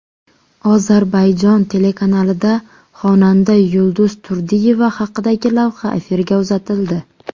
Ozarbayjon telekanalida xonanda Yulduz Turdiyeva haqidagi lavha efirga uzatildi.